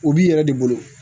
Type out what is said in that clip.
U b'i yɛrɛ de bolo